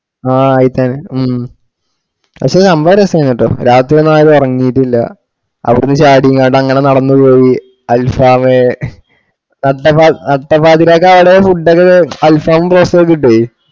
ആ ആയിട്ടാണ് ഉം പഷേ സംഭവം രാസായുണ്ട്ട്ടോ രാത്രി ഒന്നും ആരും ഉറങ്ങീട്ടില്ല. അവിടന്ന് ചാടി ഇങ്ങട്ട് അങ്ങനെ നടന്ന് പോയി alfaham നട്ട പാ നട്ട പാതിരാക്ക് ആട food ഒക്ക alfaham ഉം broast ഒക്കെ കിട്ടേയ്.